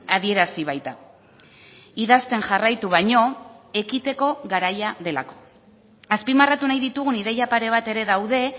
adierazi baita idazten jarraitu baino ekiteko garaia delako azpimarratu nahi ditugun ideia pare bat ere daude